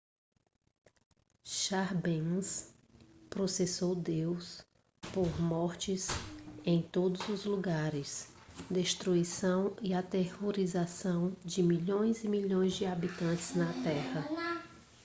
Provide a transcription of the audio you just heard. chambers processou deus por mortes em todos os lugares destruição e aterrorização de milhões e milhões de habitantes da terra